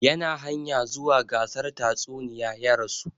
Yana hanya zuwa gasar tatsuniya ya rasu